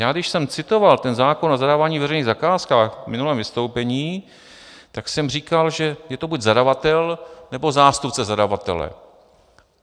Já když jsem citoval ten zákon o zadávání veřejných zakázek v minulém vystoupení, tak jsem říkal, že je to buď zadavatel, nebo zástupce zadavatele.